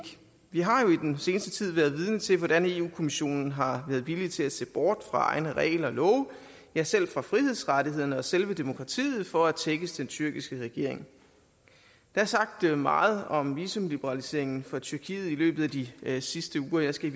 vi har jo i den seneste tid været vidne til hvordan eu kommissionen har været villig til at se bort fra egne regler og love ja selv fra frihedsrettighederne og selve demokratiet for at tækkes den tyrkiske regering der er sagt meget om visumliberaliseringen for tyrkiet i løbet af de sidste uger og jeg skal i